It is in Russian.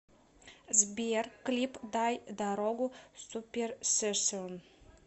сбер клип дай дарогу суперсессион